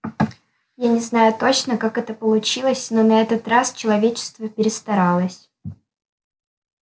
я не знаю точно как это получилось но на этот раз человечество перестаралось